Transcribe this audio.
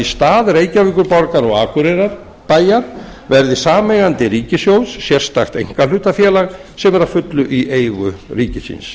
stað reykjavíkurborgar og akureyrarbæjar verði sameigandi ríkissjóðs sérstakt einkahlutafélag sem er að fullu í eigu ríkisins